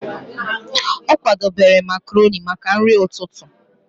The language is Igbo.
Ọ kwadebere makroni maka nri ụtụtụ.